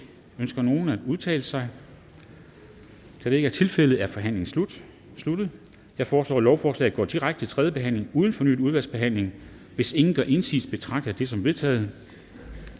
ønsker nogen at udtale sig da det ikke er tilfældet er forhandlingen sluttet sluttet jeg foreslår at lovforslaget går direkte til tredje behandling uden fornyet udvalgsbehandling hvis ingen gør indsigelse betragter jeg det som vedtaget